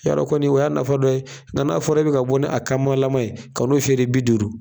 Y 'a dɔn kɔni o y'a nafa dɔ ye. Nga n'a fɔra e be ka bɔ ni a kamalaman ye , ka n'o feere bi duuru